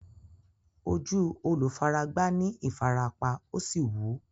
Ojú olùfaragbá ní ìfarapa, ó sì wú.